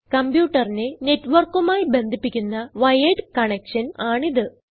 കംപ്യൂട്ടറിനെ net വർക്കുമായി ബന്ധിപ്പിക്കുന്ന wired connection ആണിത്